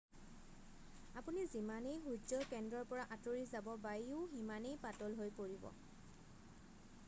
আপুনি যিমানেই সূৰ্যৰ কেন্দ্ৰৰ পৰা আঁতৰি যাব বায়ুও সিমানেই পাতল হৈ পৰিব